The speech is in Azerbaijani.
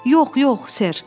Yox, yox, Sir.